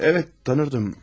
Bəli, tanıyırdım.